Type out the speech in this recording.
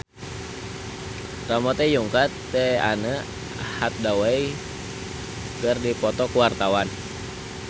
Ramon T. Yungka jeung Anne Hathaway keur dipoto ku wartawan